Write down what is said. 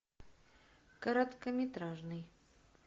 короткометражный